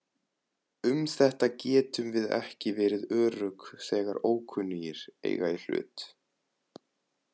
Um þetta getum við ekki verið örugg þegar ókunnugir eiga í hlut.